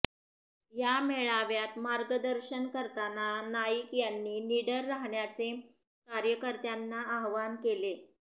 या मेळाव्यात मार्गदर्शन करताना नाईक यांनी निडर राहण्याचे कार्यकर्त्यांना आवाहन केले